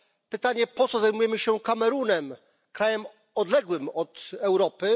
Pytanie po co zajmujemy się Kamerunem, krajem odległym od Europy?